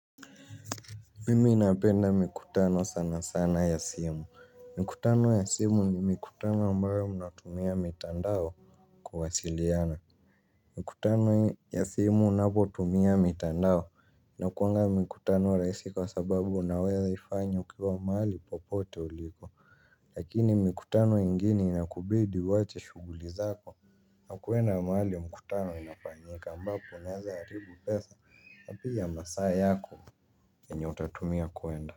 Mimu napenda mikutano sana sana ya simu. Mikutano ya simu ni mikutano ambayo mnatumia mitandao kuwasiliana. Mikutano ya simu unapotumia mitandao. Inakuanga mikutano rahisi kwa sababu unaweza ifanya ukiwa mahali popote ulipo. Lakini mikutano ingine inakubidi uwache shughuli zako na kwenda mahali mikutano inapanyika mbapo unaweza haribu pesa na pia masaa yako. Yenye utatumia kwenda.